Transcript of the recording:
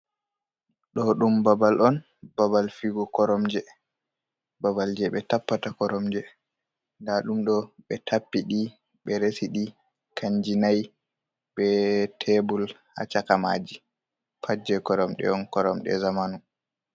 Ɗo ɗum babal on, babal fiwgo koromje babal je ɓe tappata koromje nda ɗum ɗo ɓe tappi ɗi ɓe resi ɗi kanjum nai be tebul ha cakamaji pat je koromje on koromje zamanu.